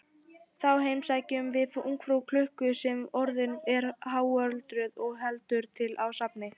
Þá heimsækjum við ungfrú klukku sem orðin er háöldruð og heldur til á safni.